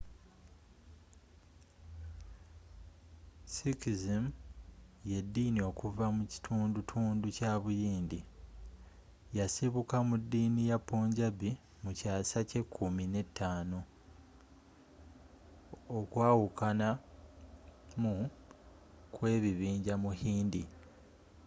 sikhism y’eddini okuva mu kitundutundu kya buyindi. yasibuka mu ddiini ya punjabi mu kyaasa kye kummi ne ttaano 15 okwawukanamu kwekibinja mu hindu